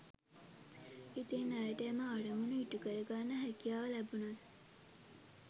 ඉතින් ඇයට එම අරමුණ ඉ‍ටුකරගන්න හැකියාව ලැබුණද